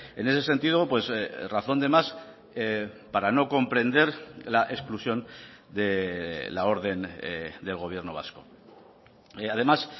en ese sentido razón de más para no comprender la exclusión de la orden del gobierno vasco además